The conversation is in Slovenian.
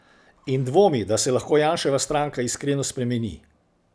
In dvomi, da se lahko Janševa stranka iskreno spremeni.